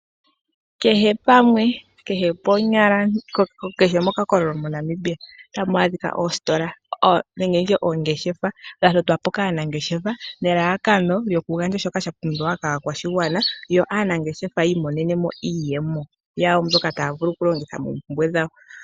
Kehe pamwe nenge kehe mokakokololo MoNamibia otamu adhika oositola nenge oongeshefa, dha totwa po kaanangeshefa, nelalakano lyokugandja shoka sha pumbiwa kaakwashigwana, yo aanangeshefa yi imonene iiyemo yawo mbyoka taya vulu okulongitha moompumbwe dhawo.